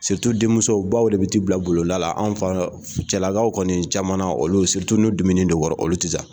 denmuso baw de bɛ t'i bila bulonda la, an faw cɛlakaw kɔni caman na olu n'u dimini don i kɔrɔ olu tɛ taa